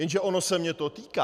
Jenže ono se mě to týká.